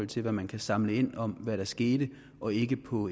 til hvad man kan samle ind om hvad der skete og ikke på